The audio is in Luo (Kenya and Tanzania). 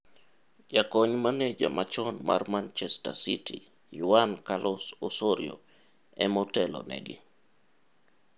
Jakony Maneja machon mar Manchester City, Juan Carlos Osorio, e motelo negi.